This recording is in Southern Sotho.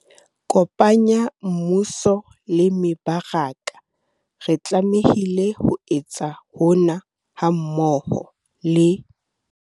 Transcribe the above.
Kopanya Mmuso le mebaraka - re tlamehile ho etsa hona, hammoho le